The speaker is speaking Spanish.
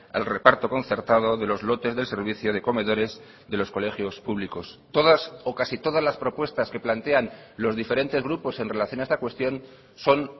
al reparto concertado de los lotes del servicio de comedores de los colegios públicos todas o casi todas las propuestas que plantean los diferentes grupos en relación a esta cuestión son